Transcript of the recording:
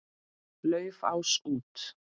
Laufás út.